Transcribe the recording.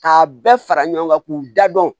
K'a bɛɛ fara ɲɔgɔn kan k'u da dɔn